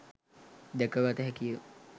දැක ගත හැකි ය.